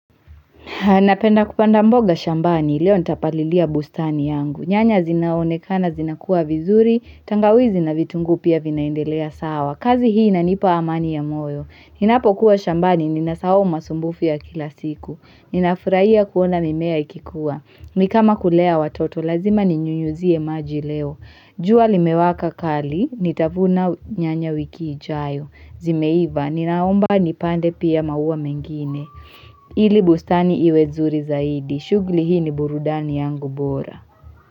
Napenda kupanda mboga shambani, leo nitapalilia bustani yangu. Nyanya zinaonekana, zinakua vizuri, tangawizi na vitungu pia vinaendelea sawa. Kazi hii inanipa amani ya moyo. Ninapo kuwa shambani, ninasahau masumbufu ya kila siku. Ninafurahiya kuona mimea ikikuwa. Nikama kulea watoto, lazima ninyunyuzie maji leo. Jua limewaka kali, nitavuna nyanya wiki ijayo. Zimeiva, ninaomba nipande pia maua mengine. Ili bustani iwe nzuri zaidi, shughuli hii ni burudani yangu bora.